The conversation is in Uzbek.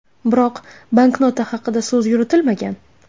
Biroq banknota haqida so‘z yuritilmagan.